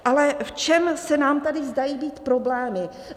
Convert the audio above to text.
Ale v čem se nám tady zdají být problémy?